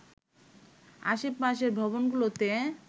আশেপাশের ভবনগুলোতে